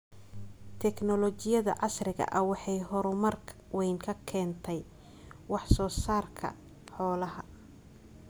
Tignoolajiyada casriga ah waxay horumar weyn ka keentay wax soo saarka xoolaha.